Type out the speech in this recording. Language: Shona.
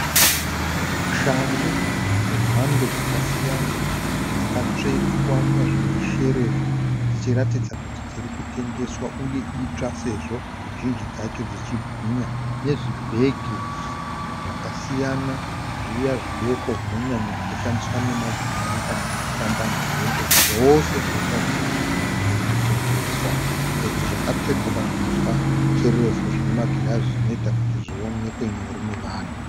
Shangu dzemhando dzakasiyana dzakatsvetwa pazvimasherefu dzichiratidza kuti dziri kutengeswa uye itsva sezvo zhinji dzacho dzichibwinya nezvibhege zvakasiyana zviya zvidoko zvinonyanya kushandiswa nemadzimai kana achifamba nzendo. Zvese zviri kuratidza kuti zviri kutengeswa sezvo dzakatsvetwa pazvimasherefu zvine magirazi zvinoita kuti zvionekwe nyore nevanhu.